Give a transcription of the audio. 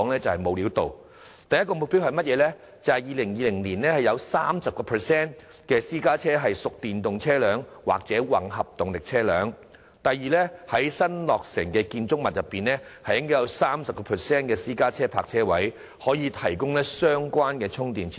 政府訂定的第一個目標，是2020年會有 30% 私家車屬電動車輛或混合動力車輛；第二個目標則是在新落成建築物中，會有 30% 私家車泊車位可提供相關充電設施。